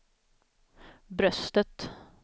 bröstet